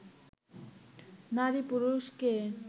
“নারী পুরুষ কে